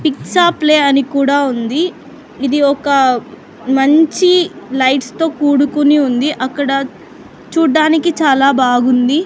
పిక్సా ప్లే అని కూడా ఉంది ఇది ఒక మంచి లైట్స్ తో కూడుకుని ఉంది అక్కడ చూడ్డానికి చాలా బాగుంది.